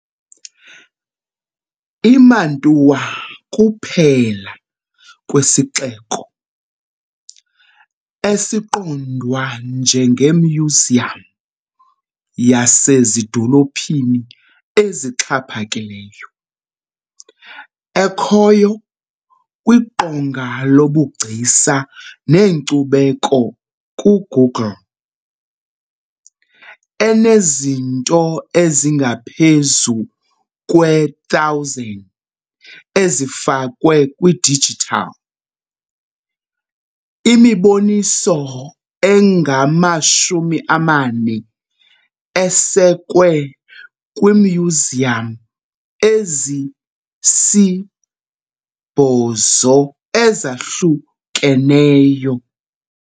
IMantua kuphela kwesixeko, esiqondwa njengemyuziyam yasezidolophini exhaphakileyo, ekhoyo kwiqonga lobuGcisa neNkcubeko kuGoogle, enezinto ezingaphezu kwe-1,000 ezifakwe kwidijithali, imiboniso engama-40 esekwe kwiimyuziyam ezisi-8 ezahlukeneyo.